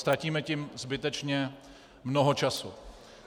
Ztratíme tím zbytečně mnoho času.